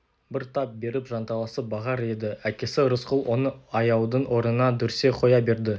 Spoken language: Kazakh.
бір тап беріп жанталасып бағар еді әкесі рысқұл оны аяудың орнына дүрсе қоя берді